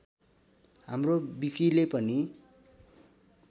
हाम्रो विकिले पनि